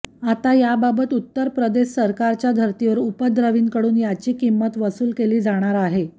आता याबाबत उत्तर प्रदेश सरकारच्या धर्तीवर उपद्रवींकडून याची किंमत वसूल केली जाणार आहे